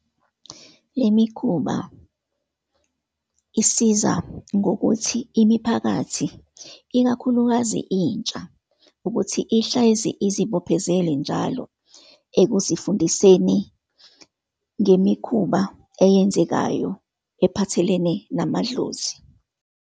Le mikhuba isiza ngokuthi imiphakathi, ikakhulukazi intsha ukuthi ihlezi izibophezele njalo ekuzifundiseni ngemikhuba eyenzekayo ephathelene namadlozi.